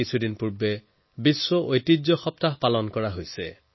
কিছুদিন পূৰ্বে বিশ্ব ঐতিহ্য সপ্তাহ পালন কৰা হৈছে